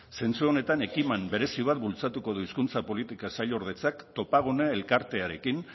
zentzu honetan ekimen berezi bat bultzatuko du hizkuntza politika sailordetzak topagune elkartearekin